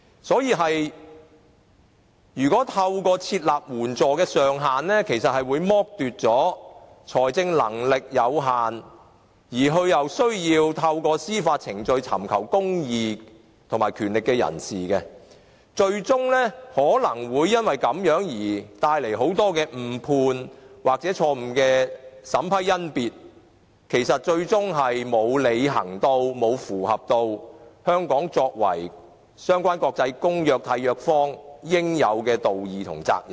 所以，如果透過設立援助上限，其實會剝奪了財政能力有限而又需要透過司法程序尋求公義的人士，更有可能因而帶來很多誤判或錯誤的審批甄別，最終令香港不能履行作為相關的國際公約的締約方應有的道義及責任。